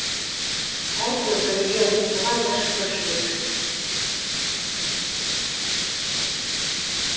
әйтеуір біргеміз бұған да шүкіршілік